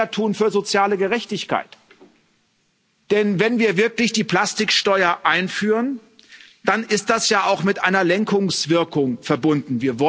Wir wollen mehr tun für soziale Gerechtigkeit, denn wenn wir wirklich die Plastiksteuer einführen, dann ist das ja auch mit einer Lenkungswirkung verbunden.